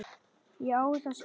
Ég á það skilið.